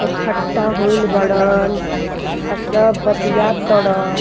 इकट्ठा होइल बाड़न आ सब बतिया ताड़न।